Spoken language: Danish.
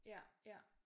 Ja ja